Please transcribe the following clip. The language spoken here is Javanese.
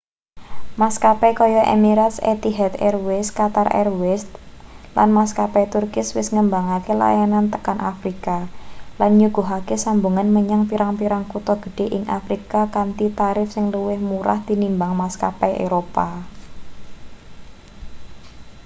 maskapai kayata emirates etihad airways qatar airways & maskapai turkish wis ngembangake layanane tekan afrika lan nyuguhake sambungan menyang pirang-pirang kutha gedhe ing afrika kanthi tarip sing luwih murah tinimbang maskapai eropa